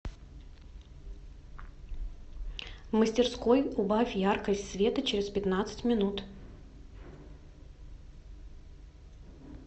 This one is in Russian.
в мастерской убавь яркость света через пятнадцать минут